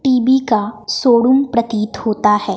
TV का showroom प्रतीत होता है।